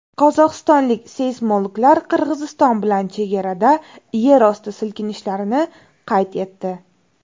Qozog‘istonlik seysmologlar Qirg‘iziston bilan chegarada yerosti silkinishlarini qayd etdi.